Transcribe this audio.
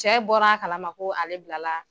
Cɛ bɔr'a kalama ko ale bilala